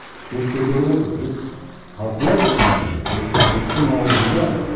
жұрт көтеріп отыр жұрт талқылайды бұның бәрін бұл жұрттың ауызында